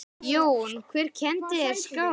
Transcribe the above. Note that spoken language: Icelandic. Jón: Hver kenndi þér skák?